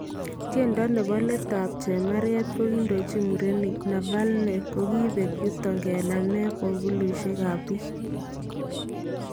Tyendo nebo leet ab chemarket nekindochin murenik Navalny kokibeek yutoo kenamee pokolushek ab biik